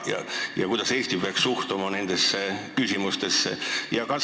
Kui on, siis kuidas Eesti peaks suhtuma nendesse küsimustesse?